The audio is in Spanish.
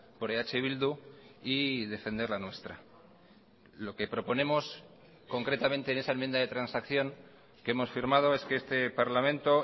por eh bildu y defender la nuestra lo que proponemos concretamente en esa enmienda de transacción que hemos firmado es que este parlamento